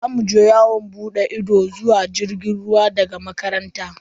Za mu je yawon bude ido zuwa tashar jirgin ruwa daga makaranta.